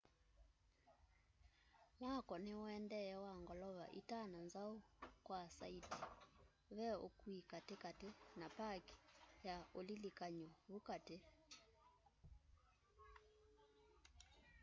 mwako niuendee wa ngolova itano nzau kwa saiti ve ukui katikati na paki ya ulilikany'o vu kati